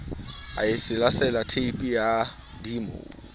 a selasela theepe ya dimo